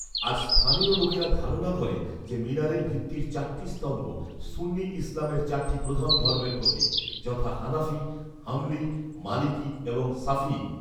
আজ, স্থানীয় লোকেরা ধারণা করে যে, মিনারের ভিত্তির চারটি স্তম্ভ সুন্নি ইসলামের চারটি প্রধান ধর্মের প্রতীক, যথা হানাফী, হাম্বলী, মালিকি এবং শাফিঈ